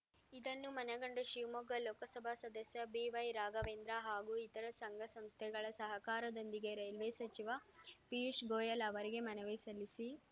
ಇದನ್ನು ಮನಗಂಡ ಶಿವಮೊಗ್ಗ ಲೋಕಸಭಾ ಸದಸ್ಯ ಬಿವೈ ರಾಘವೇಂದ್ರ ಹಾಗೂ ಇತರ ಸಂಘ ಸಂಸ್ಥೆಗಳ ಸಹಕಾರದೊಂದಿಗೆ ರೈಲ್ವೆ ಸಚಿವ ಪಿಯೂಶ್‌ ಗೊಯಲ್‌ ಅವರಿಗೆ ಮನವಿ ಸಲ್ಲಿಸಿ